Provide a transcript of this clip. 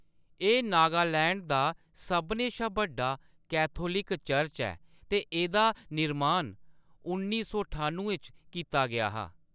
एह्‌‌ नागालैंड दा सभनें शा बड्डा कैथोलिक चर्च ऐ ते एह्‌‌‌दा निर्मान उन्नी सौ ठानुएं च कीता गेआ हा।